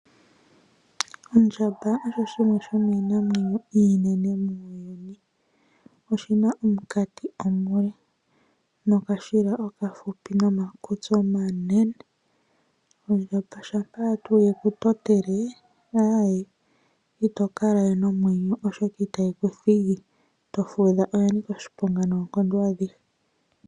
Ondjamba osho shimwe shomiinamwenyo iinene muuyuni. Oshina omukati omule nokashila okahupi nomakutsi omanene. Ondjamba shampa tuu yeku totele aawe ito kalawe nomwenyo oshoka itayi kuthigi to fudha oya nika oshiponga noonkondo adhihe.